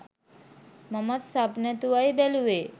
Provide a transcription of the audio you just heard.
මමත් සබ් නැතුවයි බැලුවේ.